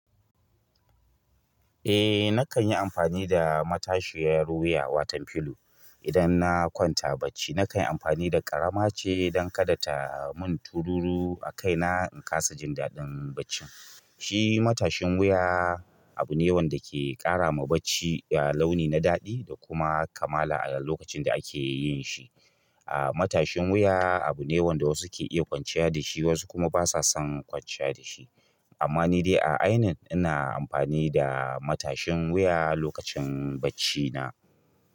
Eh na kan yi amfani da matashiyar wuya, watan filo idan na kwanta bacci. Na kan yi amfani da ƙarama ce don kada ta mun tururu a kaina in kasa jin daɗin baccin. Shi matashin wuya abu ne wanda ke ƙara ma bacci launi na daɗi da kuma kamala a lokacin da ake yin shi. Ah, matashin wuya abu ne wanda wasu ke iya kwanciya da shi wasu kuma ba sa son kwanciya da shi. Amma ni dai a ainin ina amfani da matashin wuya lokacin baccina.